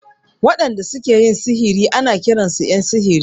Waɗanda su ke sihiri ana kiran su ƴan sihiri.